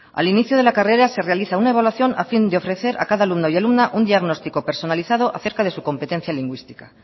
al inicio de la carrera se realiza una evaluación a fin de ofrecer a cada alumno y alumna un diagnóstico personalizado a cerca de su competencia lingüística